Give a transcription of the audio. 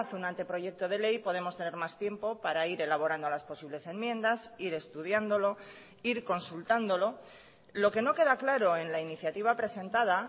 un anteproyecto de ley podemos tener más tiempo para ir elaborando las posibles enmiendas ir estudiándolo ir consultándolo lo que no queda claro en la iniciativa presentada